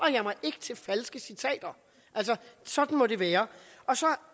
jeg mig ikke til falske citater sådan må det være og så